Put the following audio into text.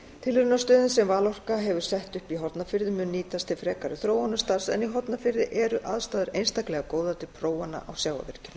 tilraunastöðin sem valorka hefur sett upp í hornafirði mun nýtast til frekari þróunarstarfs en í hornafirði eru aðstæður einstaklega góðar til prófana á sjávarvirkjunum